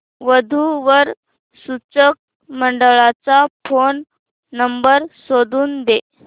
वधू वर सूचक मंडळाचा फोन नंबर शोधून दे